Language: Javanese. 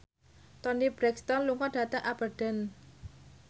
Toni Brexton lunga dhateng Aberdeen